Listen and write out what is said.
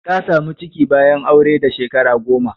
Ta samu ciki bayan aure da Shekara goma.